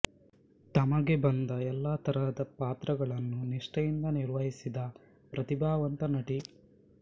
ತಮಗೆ ಬಂದ ಎಲ್ಲ ತರಹದ ಪಾತ್ರಗಳನ್ನು ನಿಷ್ಠೆಯಿಂದ ನಿರ್ವಹಿಸಿದ ಪ್ರತಿಭಾವಂತ ನಟಿ